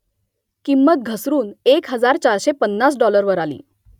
किंमत घसरून एक हजार चारशे पन्नास डाॅलरवर आली